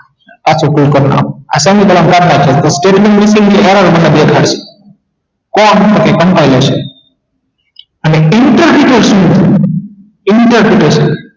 પાછું કરી નાખો આસાની ભાષા માં state ની building આવે તો મને દેખાડ જો કોણ તો કે compine હશે અને interpretate શુ interpridation